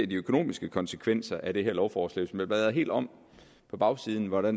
de økonomiske konsekvenser af det her lovforslag bladrer helt om på bagsiden hvor der